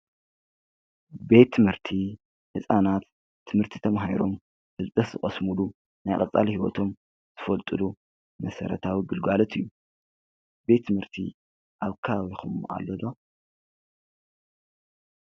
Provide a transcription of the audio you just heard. ቤት ትምህርቲ ካብቶም መሰረተ ልምዓት ሓደ ኾይኑ ደቂ ሰባት ዘመናዊ ትምህርቲ ቀለም ዝምሃርሎም ቦታ እዩ።